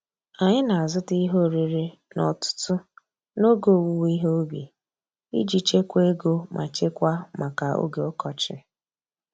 Anyị na-azụta ihe oriri n'ọtụtụ n'oge owuwe ihe ubi iji chekwaa ego ma chekwaa maka oge ọkọchị.